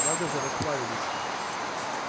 надо же расплавилась